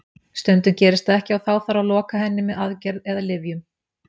Stundum gerist það ekki og þá þarf að loka henni með aðgerð eða lyfjum.